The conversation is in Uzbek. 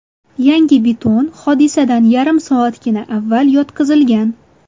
Yangi beton hodisadan yarim soatgina avval yotqizilgan.